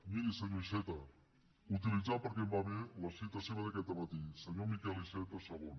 miri senyor iceta utilitzant perquè em va bé la cita seva d’aquest dematí senyor miquel iceta segon